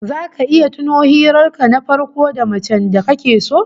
Zaka iya tuno hirar ka na farko da macen da kake so?